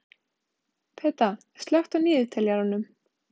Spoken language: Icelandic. Peta, slökktu á niðurteljaranum.